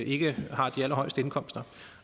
ikke har de allerhøjeste indkomster